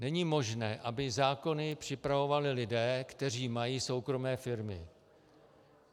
Není možné, aby zákony připravovali lidé, kteří mají soukromé firmy.